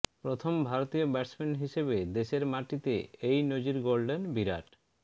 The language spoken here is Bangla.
প্রথম ভারতীয় ব্যাটসম্যান হিসেবে দেশের মাটিতে এই নজির গড়লেন বিরাট